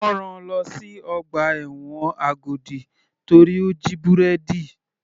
Wọ́n rán-an lọ sí ọgbà ẹ̀wọ̀n Agodi torí ó jí búrẹ́dì.